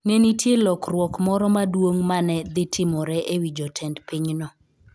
Ne nitie lokruok moro maduong ' ma ne dhi timore e wi jotend pinyno.